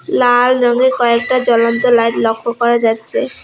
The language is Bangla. লাল রঙের কয়েকটা জ্বলন্ত লাইট লক্ষ্য করা যাচ্ছে।